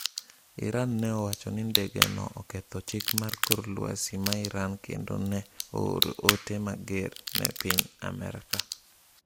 Iran ne owacho ni ndege no oketho chik mar kor lwasi ma Iran kendo ne ooro ote mager ne piny Amerka.